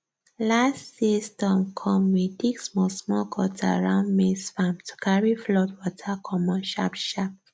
last year storm come we dig smallsmall gutter round maize farm to carry flood water commot sharpsharp